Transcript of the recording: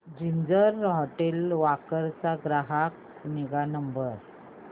ginger hotel Wakad चा ग्राहक निगा नंबर